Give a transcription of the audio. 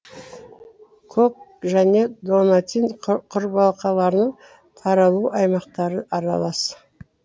көк және донатин құрбақаларының таралу аймақтары аралас